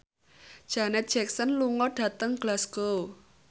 Janet Jackson lunga dhateng Glasgow